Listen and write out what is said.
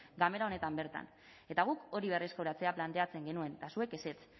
ganbera honetan bertan eta guk hori berreskuratzea planteatzen genuen eta zuek ezetz